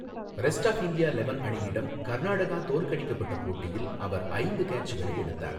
Rest of India eleven அணியிடம் கர்நாடகா தோற்கடிக்கப்பட்ட போட்டியில் அவர் ஐந்து கேட்சுகளை எடுத்தார்.